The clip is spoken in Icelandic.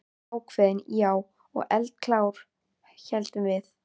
Ákveðin, já, og eldklár, héldum við.